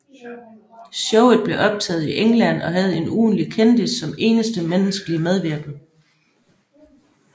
Showet blev optaget i England og havde en ugentlig kendis som eneste menneskelige medvirkende